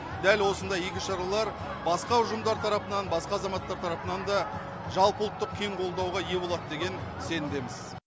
дәл осындай игі шаралар басқа ұжымдар тарапынан басқа азаматтар тарапынан да жалпыұлттық кең қолдауға ие болады деген сенімдеміз